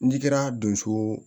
N'i kɛra donso